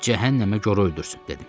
Cəhənnəmə gora öldürsün,